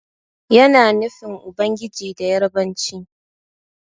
Yana nufin Ubangiji da Yarabanci.